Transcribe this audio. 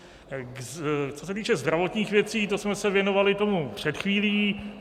Co se týče zdravotních věcí, to jsme se věnovali tomu před chvílí.